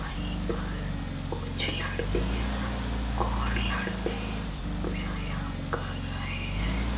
वहीं पर कुछ लड़कियां और लड़के व्यायाम कर रहे हैं।